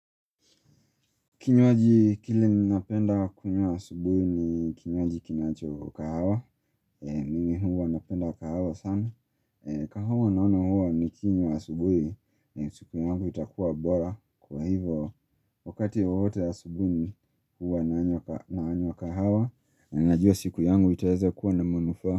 Kinywaji kile ninapenda kunywa asubuhi ni kinywaji kinacho kahawa, mimi huwa napenda kahawa sana. Kahawa naono huwa nikinywa asubuhi, siku yangu itakua bora. Kwa hivyo, wakati wowote asubuhi ni huwa nanywa kahawa, na najua siku yangu itaweza kuwa na manufaa.